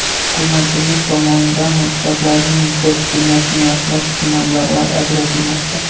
Hukumatimiz tomonidan maktablarning infratuzilmasini yaxshilash uchun mablag‘lar ajratilmoqda.